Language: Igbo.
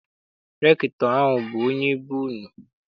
Rektọ ahụ abụ onye be unu?